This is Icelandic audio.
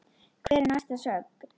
Hver er næsta sögn?